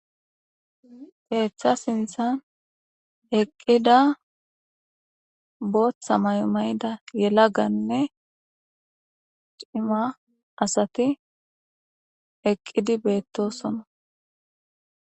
Keeththa sinthan eqqida booththa mayo mayda yelaganne cima asati eqqidi beettosona